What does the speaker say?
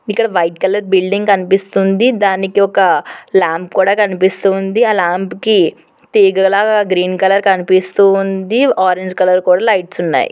ఇక్కడ white colour building కనిపిస్తుంది దానికి ఒక లాంప్ కూడా కనిపిస్తూ ఉంది ఆ లాంప్కి తీగ లాగా గ్రీన్ కలర్ కనిపిస్తుంది ఆరేంజ్ కలర్ కూడా లైట్స్ ఉన్నాయి.